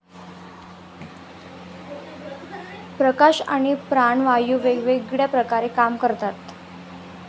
प्रकाश आणि प्राणवायू वेगवेगळ्या प्रकारे काम करतात.